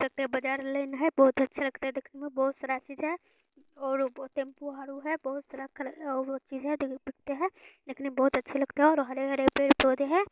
देख सकते हैं बाजार लाइन है बहुत अच्छा लगता है देखने में और बहुत सारा चीज है और टैम्पू औरु है बहुत सारा कल और चीज़ हैं देख सकते है देखने में बहुत अच्छे लगते हैं और हरे हरे पेड़-पौधे हैं।